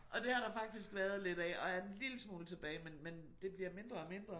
Og det har der faktisk været lidt af og er en lille smule tilbage men men det bliver mindre og mindre